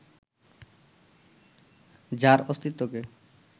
যার অস্তিত্বকে